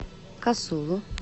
касулу